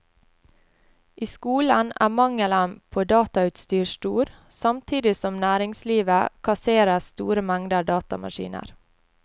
I skolen er mangelen på datautstyr stor, samtidig som næringslivet kasserer store mengder datamaskiner.